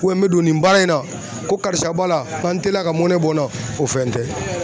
n bɛ don nin baara in na ko karisa b'a la n ka n teliya ka mɔnɛ bɔ n na o fɛn tɛ.